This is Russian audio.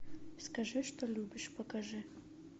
скажи что любишь покажи